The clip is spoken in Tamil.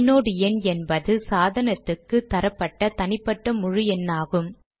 ஐநோட் எண் என்பது சாதனத்துக்கு தரப்பட்ட தனிப்பட்ட முழு எண்ணாகும்